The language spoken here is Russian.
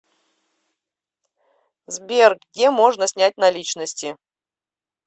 сбер где можно снять наличности